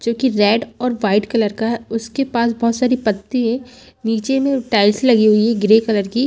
जो कि रेड और वाइट कलर का है उसके पास बहुत सारी पत्ती है नीचे में टाइल्स लगी हुई है ग्रे कलर की।